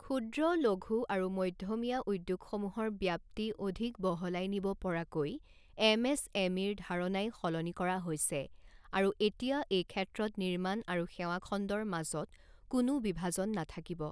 ক্ষূদ্ৰ, লঘূ আৰু মধ্যমীয়া উদ্যোগসমূহৰ ব্যাপ্তি অধিক বহলাই নিব পৰাকৈ এম এছ এম ইৰ ধাৰণাই সলনি কৰা হৈছে আৰু এতিয়া এই ক্ষেত্ৰত নিৰ্মাণ আৰু সেৱাখণ্ডৰ মাজক কোনো বিভাজন নাথাকিব।